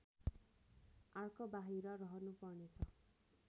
आर्कबाहिर रहनुपर्नेछ